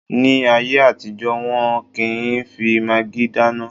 Ní ayé àtijọ́, wọ́n ò kí n fi magí dáná